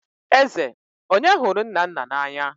Eze, onye hụrụ Nnanna n'anya?